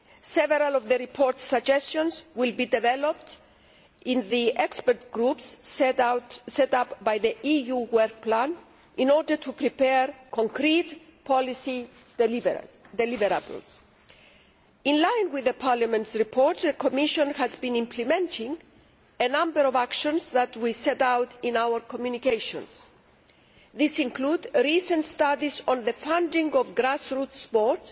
Several of the report's suggestions will be developed by the expert groups set up by the EU work plan in order to prepare concrete policy deliverables. In line with Parliament's report, the Commission has been implementing a number of actions that were set out in our communications. These include recent studies on the funding of grassroots sport